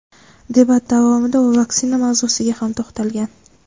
Debat davomida u vaksina mavzusiga ham to‘xtalgan.